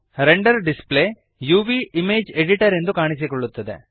render display uvಇಮೇಜ್ editor ಎಂದು ಕಾಣಿಸಿಕೊಳ್ಳುತ್ತದೆ